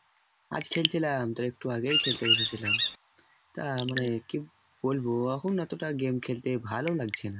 আজ খেলছিলাম তো একটু আগেই খেলতে বসে ছিলাম তা মানে কি বলবো কি বলবো? এখন অতটা game খেলতে ভালো লাগছে না।